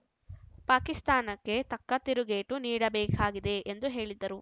ಪಾಕಿಸ್ತಾನಕ್ಕೆ ತಕ್ಕ ತಿರುಗೇಟು ನೀಡಬೇಕಾಗಿದೆ ಎಂದು ಹೇಳಿದ್ದರು